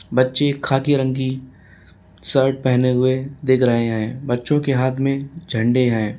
बच्चे खाकी रंग की शर्ट पहने हुए दिख रहे हैं। बच्चों के हाथ में झंडे हैं।